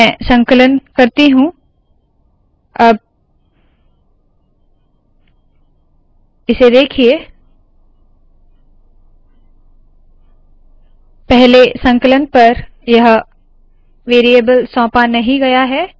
मैं संकलन करती हूँ अब इसे देखिए पहले संकलन पर यह वेरीयेबल सौंपा नहीं गया है